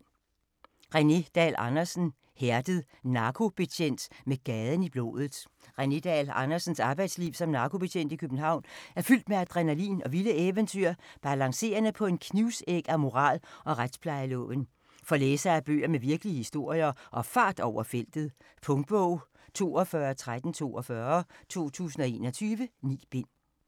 Dahl Andersen, René: Hærdet: narkobetjent med gaden i blodet René Dahl Andersens arbejdsliv som narkobetjent i København er fyldt med adrenalin og vilde eventyr, balancerende på en knivsæg af moral og retsplejeloven. For læsere af bøger med virkelige historier og fart over feltet. Punktbog 421342 2021. 9 bind.